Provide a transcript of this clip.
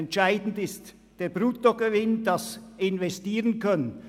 Entscheidend ist der Bruttogewinn, damit man investieren kann.